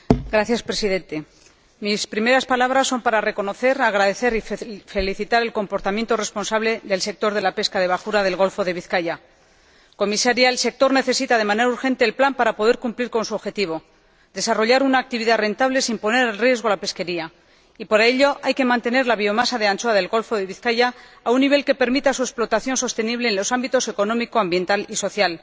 Señor Presidente, mis primeras palabras son para reconocer, agradecer y felicitar el comportamiento responsable del sector de la pesca de bajura del Golfo de Vizcaya. Señora Comisaria, el sector necesita de manera urgente el plan para poder cumplir con su objetivo, desarrollar una actividad rentable sin poner en riesgo la pesquería y, para ello, hay que mantener la biomasa de anchoa del Golfo de Vizcaya a un nivel que permita su explotación sostenible en los ámbitos económico, ambiental y social.